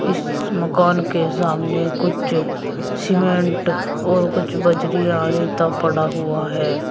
इस मकान के सामने कुछ सीमेंट और कुछ बजरी या रेता पड़ा हुआ है।